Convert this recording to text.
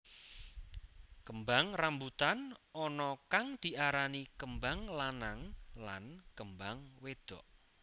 Kembang rambutan ana kang diarani kembang lanang lan kembang wédok